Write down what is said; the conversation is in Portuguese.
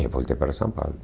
É, voltei para São Paulo.